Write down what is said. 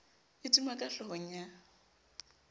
e duma ka hlohong ya